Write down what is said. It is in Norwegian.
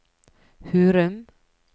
Hurum